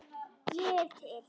Ég er til.